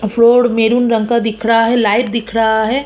Road maroon रंग का दिख रहा है लाइट दिख रहा है।